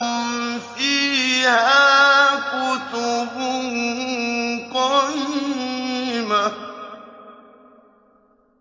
فِيهَا كُتُبٌ قَيِّمَةٌ